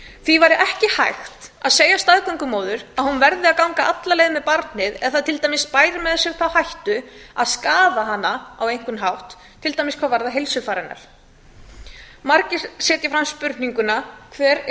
því væri ekki hægt að segja staðgöngumóður að hún verði að ganga alla leið með barnið ef það til dæmis bæði þá hættu að skaða hana á einhvern hátt til dæmis hvað varðar heilsufar hennar margir setja fram spurninguna hvert er